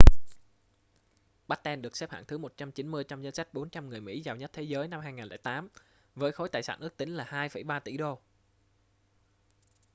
batten được xếp hạng thứ 190 trong danh sách 400 người mỹ giàu nhất thế giới năm 2008 với khối tài sản ước tính là 2,3 tỷ đô